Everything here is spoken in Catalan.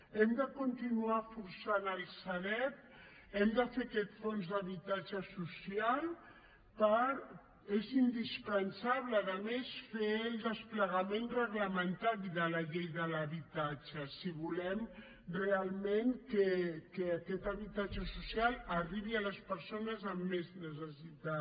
hem de continuar forçant la sareb hem de fer aquest fons d’habitatge social és indispensable a més fer el desplegament reglamentari de la llei de l’habitatge si volem realment que aquest habitatge social arribi a les persones amb més necessitat